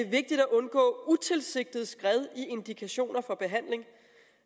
vigtigt at undgå utilsigtede skred i indikationer for behandling